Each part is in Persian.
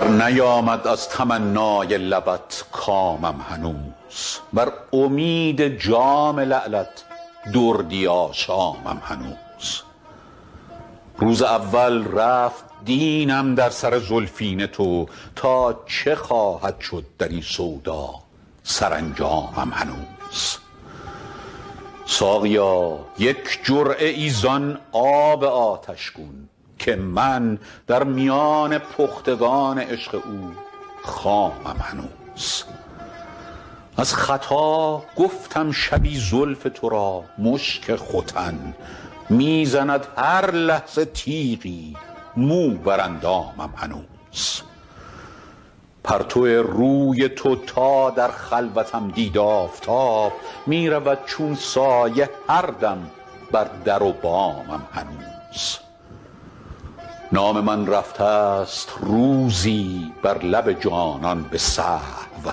برنیامد از تمنای لبت کامم هنوز بر امید جام لعلت دردی آشامم هنوز روز اول رفت دینم در سر زلفین تو تا چه خواهد شد در این سودا سرانجامم هنوز ساقیا یک جرعه ای زان آب آتش گون که من در میان پختگان عشق او خامم هنوز از خطا گفتم شبی زلف تو را مشک ختن می زند هر لحظه تیغی مو بر اندامم هنوز پرتو روی تو تا در خلوتم دید آفتاب می رود چون سایه هر دم بر در و بامم هنوز نام من رفته ست روزی بر لب جانان به سهو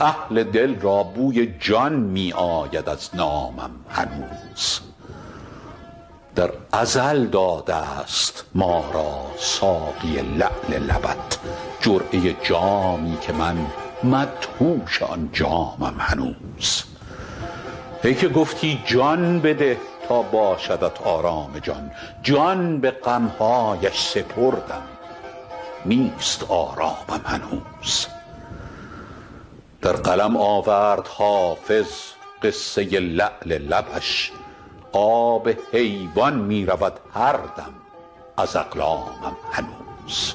اهل دل را بوی جان می آید از نامم هنوز در ازل داده ست ما را ساقی لعل لبت جرعه جامی که من مدهوش آن جامم هنوز ای که گفتی جان بده تا باشدت آرام جان جان به غم هایش سپردم نیست آرامم هنوز در قلم آورد حافظ قصه لعل لبش آب حیوان می رود هر دم ز اقلامم هنوز